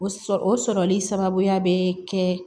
O sɔrɔ o sɔrɔli sababuya bɛ kɛ